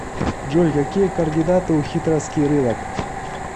джой какие координаты у хитровский рынок